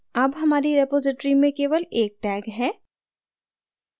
अब हमारी रिपॉज़िटरी में केवल एक tag है